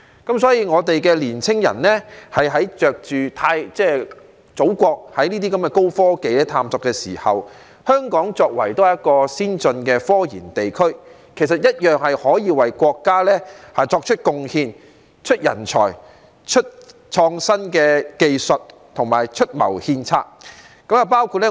因此，我們的年青人在祖國進行高科技的探索時，香港作為一個先進的科研地區，同樣可以為國家作出貢獻，提供人才、創新技術和出謀獻策。